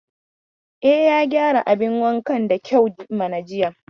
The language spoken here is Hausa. E, ya gyara bayin da kyau mana jiya.